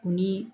Ni